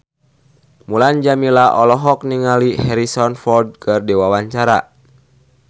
Mulan Jameela olohok ningali Harrison Ford keur diwawancara